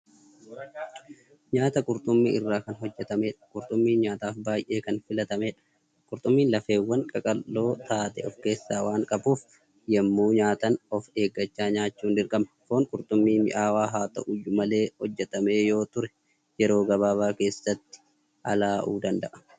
Nyaata qurxummii irraa hojjatameedha. Qurxummiin nyaataaf baay'ee Kan filatamteedha. Qurxummiin lafeewwaan qaqal'oo taate of keessaa waan qabuuf, yemmuu nyaatan of eeggachaa nyaachuun dirqama. Foon qurxummii mi'aawaa haa ta'uuyyu malee hojjatamee yoo ture yeroo gabaabaa keessatti alaa'uu danda'a.